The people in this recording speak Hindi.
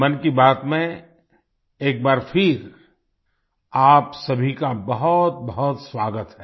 मन की बात में एक बार फिर आप सभी का बहुतबहुत स्वागत है